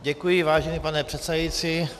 Děkuji, vážený pane předsedající.